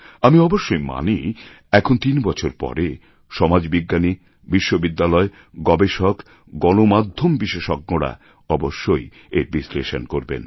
আমি অবশ্যই মানি এখন তিন বছর পরে সমাজবিজ্ঞানী বিশ্ববিদ্যালয় গবেষক গণমাধ্যম বিশেষজ্ঞরা অবশ্যই এর বিশ্লেষণ করবেন